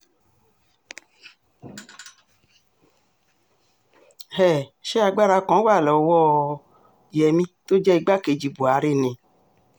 um ṣé agbára kan wà lọ́wọ́ um yẹmi tó jẹ́ igbákejì buhari ni